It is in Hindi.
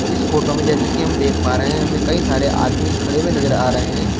इस फोटो में जैसा कि हम देख पा रहे हैं हमें कई सारे आदमी खड़े हुए नजर आ रहे हैं।